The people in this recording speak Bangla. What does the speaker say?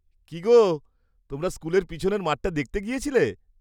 কী গো, তোমরা স্কুলের পিছনের মাঠটা দেখতে গেছিলে?